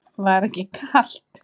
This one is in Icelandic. Helga: Var þetta ekki kalt?